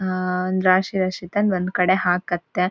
ಆಹ್ಹ್ ಒಂದ್ ರಾಶಿ ರಾಶಿ ತಂದ್ ಒಂದ್ ಕಡೆ ಹಾಕತ್ತೆ